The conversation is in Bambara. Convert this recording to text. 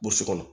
Bosi kɔnɔ